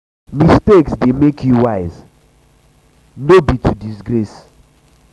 mistakes de make you wise no no be to disgrace